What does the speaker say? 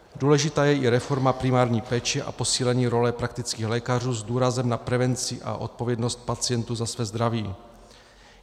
Důležitá je i reforma primární péče a posílení role praktických lékařů s důrazem na prevenci a odpovědnost pacientů za své zdraví.